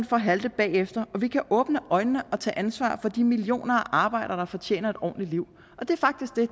for at halte bagefter og vi kan åbne øjnene og tage ansvar for de millioner af arbejdere der fortjener et ordentligt liv det er faktisk det